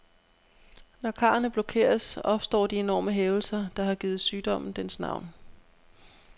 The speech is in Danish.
Når karrene blokeres, opstår de enorme hævelser, der har givet sygdommen dens navn.